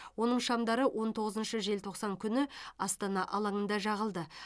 оның шамдары он тоғызыншы желтоқсан күні астана алаңында жағылды